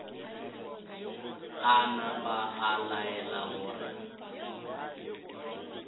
a napa a laela gore